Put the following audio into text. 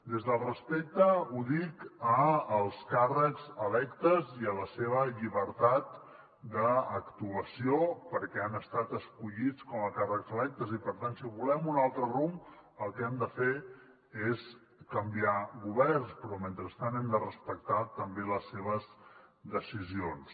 des del respecte ho dic als càrrecs electes i a la seva llibertat d’actuació perquè han estat escollits com a càrrecs electes i per tant si volem un altre rumb el que hem de fer és canviar governs però mentrestant hem de respectar també les seves decisions